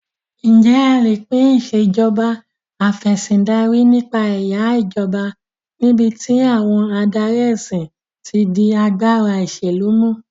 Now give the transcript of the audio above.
Ǹjẹ́ a lè pín Ìṣèjọba Af'ẹ̀sìndarí nípa ẹ̀yà ìjọba níbi tí àwọn adarí ẹ̀sìn ti di agbára ìṣèlú mú?